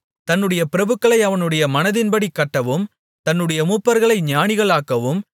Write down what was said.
தன்னுடைய பிரபுக்களை அவனுடைய மனதின்படி கட்டவும் தன்னுடைய மூப்பர்களை ஞானிகளாக்கவும்